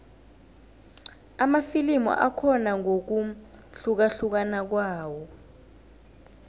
amafilimu akhona ngokuhlukahlukana kwawo